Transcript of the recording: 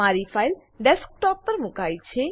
મારી file desktop desktop પર મુકાઈ છે